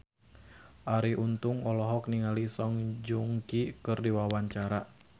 Arie Untung olohok ningali Song Joong Ki keur diwawancara